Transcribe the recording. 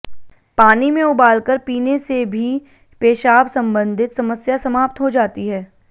पानी में उबालकर पीने से भी पेशाब संबंधित समस्या समाप्त हो जाती है